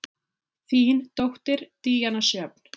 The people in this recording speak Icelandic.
Þín dóttir, Díana Sjöfn.